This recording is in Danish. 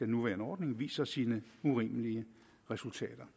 nuværende ordning viser sine urimelige resultater